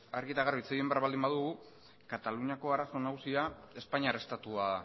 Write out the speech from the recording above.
argi eta garbi hitz egin behar baldin badugu kataluniako arazo nagusia espainiar estatua